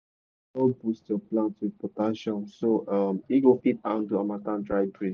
no dull boost your plant with potassium so um e go fit handle harmattan dry breeze.